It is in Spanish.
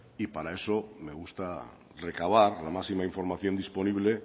y para eso me gusta recabar la máxima información disponible